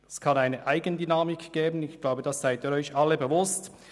Es kann eine Eigendynamik entstehen, dessen sind sich sicher alle bewusst.